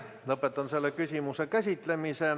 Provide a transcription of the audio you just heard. Lõpetan selle küsimuse käsitlemise.